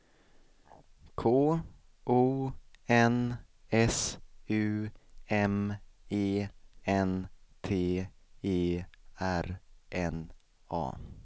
K O N S U M E N T E R N A